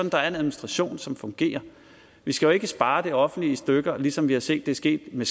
at der er en administration som fungerer vi skal jo ikke spare det offentlige i stykker ligesom vi har set det ske med